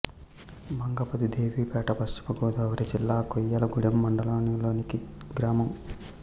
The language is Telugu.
మంగపతిదేవిపేట పశ్చిమ గోదావరి జిల్లా కొయ్యలగూడెం మండలం లోని గ్రామం